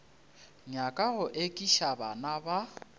nyaka go ekiša bana ba